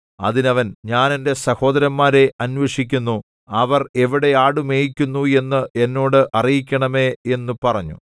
അതിന് അവൻ ഞാൻ എന്റെ സഹോദരന്മാരെ അന്വേഷിക്കുന്നു അവർ എവിടെ ആട് മേയിക്കുന്നു എന്ന് എന്നോട് അറിയിക്കണമേ എന്നു പറഞ്ഞു